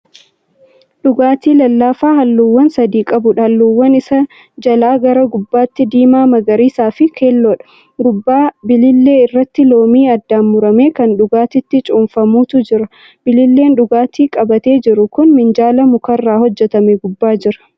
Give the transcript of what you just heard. Dhugaatii lallaafaa halluuwwan sadi qabuudha. halluuwwan Isaa jalaa gara gubbaatti diimaa, magariisafi keelloodha gubbaa bilillee irraatti loomii addaan murame Kan dhugatiitti cuunfamutu Jira bililleen dhugaatii qabate jiru kun minjaala mukarraa hojjatame gubbaa Jira